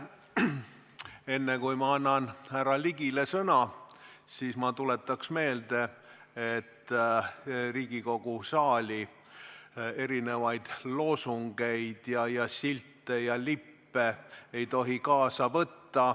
Enne kui ma annan härra Ligile sõna, ma tuletan meelde, et Riigikogu saali erinevaid loosungeid ja silte ja lippe ei tohi kaasa võtta.